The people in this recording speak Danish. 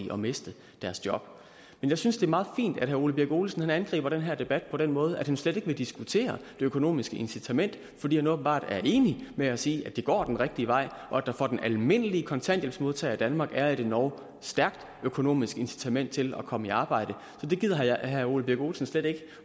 at miste deres job men jeg synes det er meget fint at herre ole birk olesen angriber den her debat på den måde at han slet ikke vil diskutere det økonomiske incitament fordi han åbenbart er enig med os i at det går den rigtige vej og at der for den almindelige kontanthjælpsmodtager i danmark er et endog stærkt økonomisk incitament til at komme i arbejde det gider herre ole birk olesen slet ikke